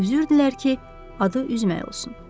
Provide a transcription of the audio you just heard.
Üzürdülər ki, adı üzməyə olsun.